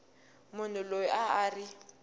munhu loyi a a ri